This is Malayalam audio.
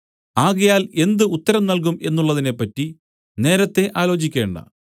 ആകയാൽ എന്ത് ഉത്തരം നൽകും എന്നുള്ളതിനെപ്പറ്റി നേരത്തേ ആലോചിക്കേണ്ട